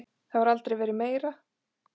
Það hefur aldrei verið meira.